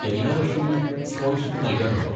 എല്ലാ വർഷവും സ്കോളർഷിപ്പ് നൽകാറുണ്ടോ?